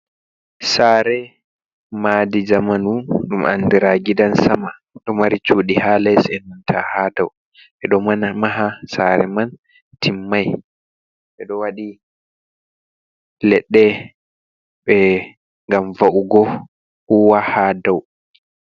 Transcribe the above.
Saare, madi jamanu ɗum andira gidan sama, ɗo mari cuuɗi ha les enenta hadow, ɓeɗon maha saare man timmai, ɓeɗo waɗi leɗɗe ɓe ngam wa'ugo huwa hadow.